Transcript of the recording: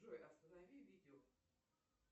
джой останови видео